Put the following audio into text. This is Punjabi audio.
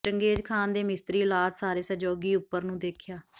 ਚੰਗੇਜ ਖਾਨ ਦੇ ਮਿਸਤਰੀ ਔਲਾਦ ਸਾਰੇ ਸਹਿਯੋਗੀ ਉਪਰ ਨੂੰ ਦੇਖਿਆ